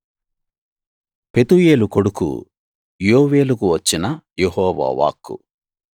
పెతూయేలు కొడుకు యోవేలుకు వచ్చిన యెహోవా వాక్కు